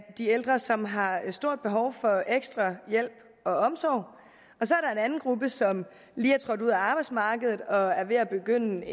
de ældre som har et stort behov for ekstra hjælp og omsorg og anden gruppe som lige er trådt ud af arbejdsmarkedet og er ved at begynde